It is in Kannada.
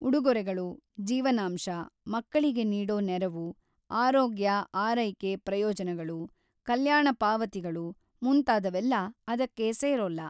ಉಡುಗೊರೆಗಳು, ಜೀವನಾಂಶ, ಮಕ್ಕಳಿಗೆ ನೀಡೋ ನೆರವು, ಆರೋಗ್ಯ-ಆರೈಕೆ ಪ್ರಯೋಜನಗಳು, ಕಲ್ಯಾಣ ಪಾವತಿಗಳು ಮುಂತಾದವೆಲ್ಲ ಅದಕ್ಕೆ ಸೇರೋಲ್ಲ.